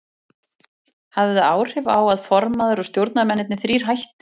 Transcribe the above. Hafði það áhrif á að formaður og stjórnarmennirnir þrír hættu?